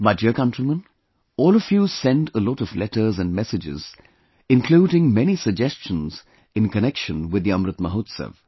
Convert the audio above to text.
My dear countrymen, all of you send a lot of letters and messages, including many suggestions in connection with The Amrit Mahotsav